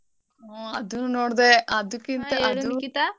ಹ ಅದ್ನು ನೋಡ್ದೆ .